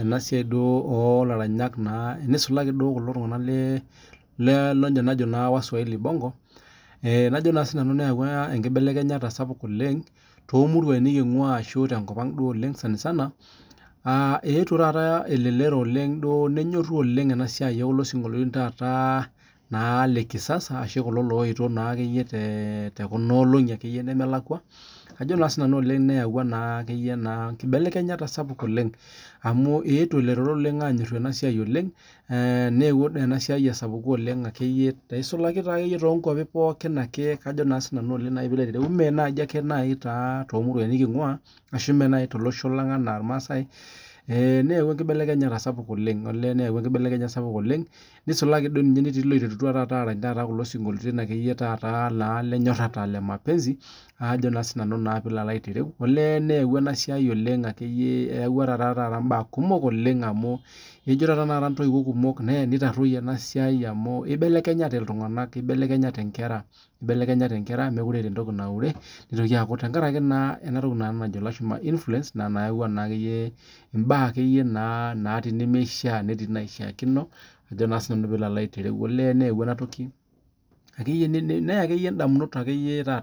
ena siai oo laranyak naa tene, toolishi aranyak naa lebongo neyawua enkibelekenyata oleng tenkop ang amuu eetuo elelero aanyoru naa kulo sinkoliotin ooleng neyawuoa inkibelekenyat amuu ilepua oleng neme ake tonkuapi ormaasai kake tepooki nisulaki toltunganak oiterutua aarany isinkoliotin le maapenzi ibelekenya enabaye elelero amuu meekure eeta entoki naure tenkaraki influence eyakua ntokitin naishaakino onimishaakino nibelekeny indamunot oonkera